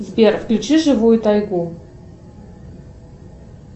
сбер включи живую тайгу